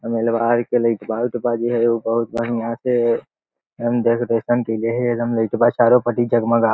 बहुत बढ़िया एगो बहुत बढ़िया से डेकोरेशन जे हेय चारों पट्टी जगमगा --